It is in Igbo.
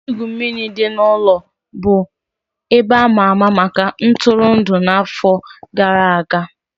Ebe igwu mmiri dị n'ụlọ bụ ebe a ma ama maka ntụrụndụ n'afọ gara aga.